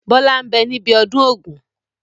Bọlá ń bẹ ní ibi ọdún Ògún